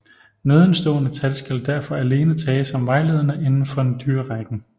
Nedenstående tal skal derfor alene tages som vejledende inden for dyrerækken